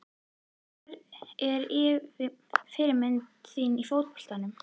Hver er fyrirmynd þín í fótboltanum?